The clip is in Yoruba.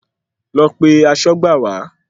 Lọ pe aṣọ́gbà wá.